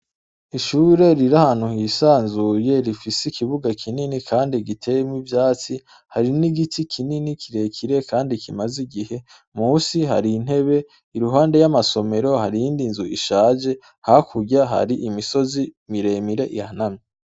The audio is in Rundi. Ishure riri ahantu yisanzuye rifise ikibuga kinini gîte n' ivyatsi hari n' igiti kire kire n' ivyatsi musi hari intebe iruhande hari iyindi nzu ishaje hakurya hari imisozi mire mire ihanamye